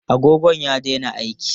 Agogon ya daina aiki.